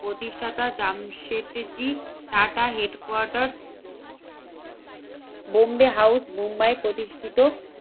প্রতিষ্ঠাতা Jamshedji Tata headquarter Bombay House Mumbai প্রতিষ্ঠিত